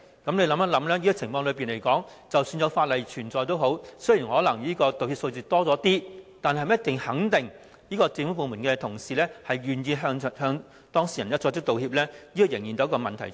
試想一下，在這情況下，即使訂有法例，道歉的數字可能會略有增加，但能否肯定政府部門的同事願意向當事人作出道歉，仍然成疑。